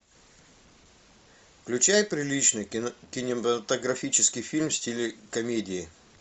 включай приличный кинематографический фильм в стиле комедии